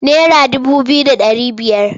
Naira dubu biyu da ɗari biyar.